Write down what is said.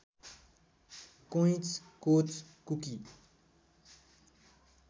कोइँच कोच कुकी